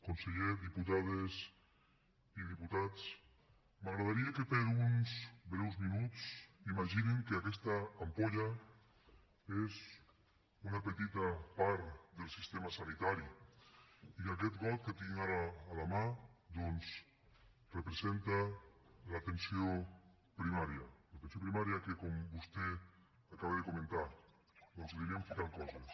conseller diputades i diputats m’agradaria que per uns breus minuts imaginessin que aquesta ampolla és una petita part del sistema sanitari i que aquest got que tinc ara a la mà doncs representa l’atenció primària l’atenció primària que com vostè acaba de comentar doncs hi anem ficant coses